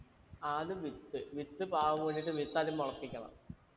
ആദ്യം വിത്ത് വിത്ത് പാകു എന്നിട്ട് വിത്ത് ആദ്യം മുളപ്പിക്കണം